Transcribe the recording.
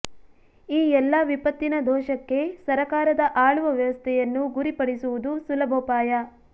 ಈ ಎಲ್ಲಾ ವಿಪತ್ತಿನ ದೋಷಕ್ಕೆ ಸರಕಾರದ ಆಳುವ ವ್ಯವಸ್ಥೆಯನ್ನು ಗುರಿಪಡಿಸುವುದು ಸುಲಭೋಪಾಯ